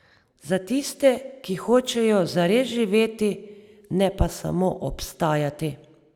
Za tiste, ki hočejo zares živeti, ne pa samo obstajati.